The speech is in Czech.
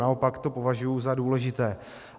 Naopak to považuji za důležité.